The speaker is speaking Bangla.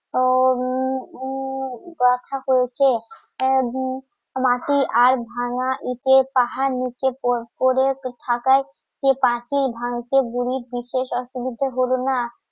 উম উম কথা হয়েছে মাটি আর ভাঙ্গা ইঁটে পাহাড় নিচে পড়ে থাকায় যে পাখি ভাঙছে বুড়ির দিতে অসুবিধা হল না